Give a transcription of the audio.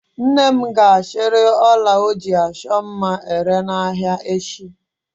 Nne m ga-achịrị ọla ọ ji achọ mma ere n'ahịa echi.